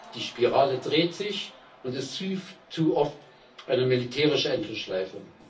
Die Spirale dreht sich und ist viel zu oft eine militärische Endlosschleife.